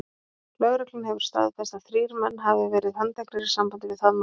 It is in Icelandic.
Lögreglan hefur þó staðfest að þrír menn hafi verið handteknir í sambandi við það mál.